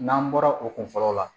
N'an bɔra o kun fɔlɔ la